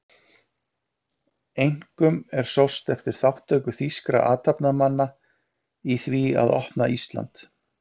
Einkum er sóst eftir þátttöku þýskra athafnamanna í því að opna Ísland